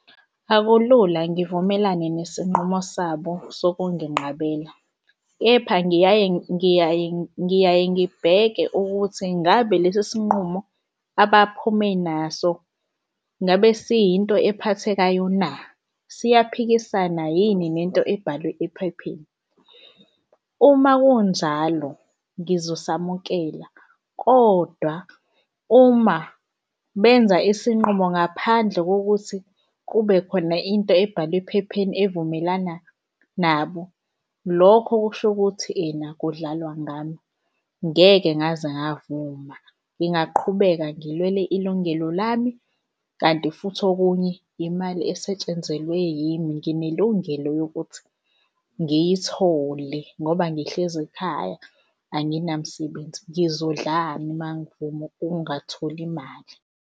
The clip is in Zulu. Akulula ngivumelane nesinqumo sabo sokunginqabela, kepha ngiyaye, ngiyaye, ngiyaye, ngibheke ukuthi ngabe lesi sinqumo abaphume naso ngabe siyinto ephathekayo na? Siyaphikisana yini nento ebhalwe ephepheni? Uma kunjalo ngizosamukela kodwa uma benza isinqumo ngaphandle kokuthi kube khona into ebhalwe ephepheni evumelana nabo, lokho kusho ukuthi ena kudlalwa ngami. Ngeke ngaze ngavuma ngingaqhubeka ngilwele ilungelo lami. Kanti futhi okunye imali esetshenzelwe yimi, nginelungelo lokuthi ngiyithole ngoba ngihlezi ekhaya anginamsebenzi. Ngizodlani uma ngivuma ukungatholi mali?